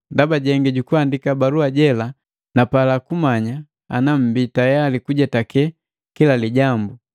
Ndaba jengi jukundika balua jela napala kumanya ana mmbii tayali kujetake kila lijambu.